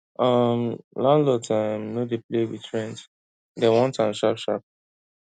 um landlords um no dey play with rent dem want am sharp sharp